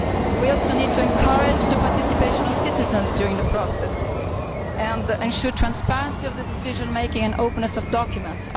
We also need to encourage the participation of citizens during the process and ensure the transparency of decision making and the openness of documents.